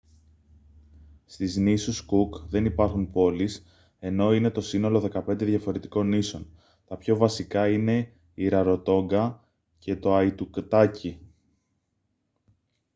στις νήσους κουκ δεν υπάρχουν πόλεις ενώ είναι το σύνολο 15 διαφορετικών νήσων τα πιο βασικά είναι η ραροτόνγκα και το αϊτουτάκι